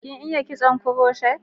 Kin iya kitson kuroshet?